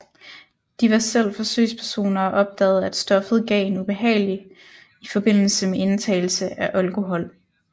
De var selv forsøgspersoner og opdagede at stoffet gav en ubehagelig i forbindelse med indtagelse af alkohol